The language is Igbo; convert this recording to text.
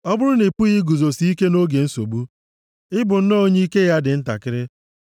Ọ bụrụ na ị pụghị iguzosi ike nʼoge nsogbu, ị bụ nnọọ onye ike ya dị ntakịrị.